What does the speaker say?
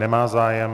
Nemá zájem.